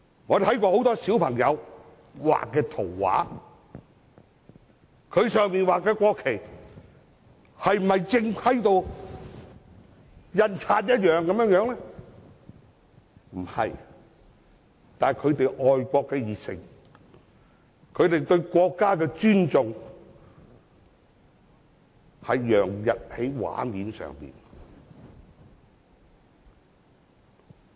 我們看過很多小朋友畫的圖畫，他們畫的國旗是否正規如印刷一樣，並非如此，但他們愛國的熱誠，他們對國家的尊重，洋溢在圖畫上。